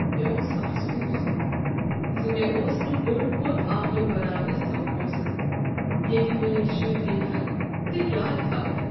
مےٚ اوس افسوس ز مےٚ اوس نہٕ بوٚڈ پوٚت آنگُن بناونس سمب پونسہٕ ییٚتہ میٲنۍ شرۍ گندہن تہٕ یادٕ تھاوہن۔